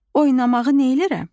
Oynamağı neylərəm?